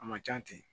A ma ca ten